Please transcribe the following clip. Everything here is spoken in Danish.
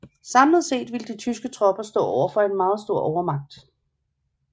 Samlet set ville de tyske tropper stå overfor en meget stor overmagt